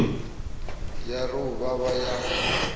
ya ri u vhavha ya